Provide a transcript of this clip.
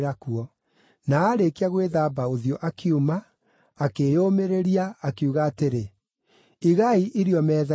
Na aarĩkia gwĩthamba ũthiũ akiuma, akĩĩyũmĩrĩria, akiuga atĩrĩ, “Igai irio metha-inĩ.”